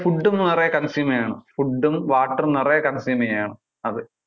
food നിറെ consume ചെയ്യണം food, water നിറയെ consume ചെയ്യണം അത്.